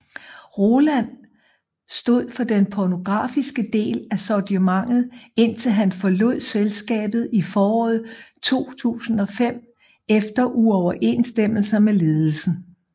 Roland stod for den pornografiske del af sortimentet indtil han forlod selskabet i foråret 2005 efter uoverensstemmelser med ledelsen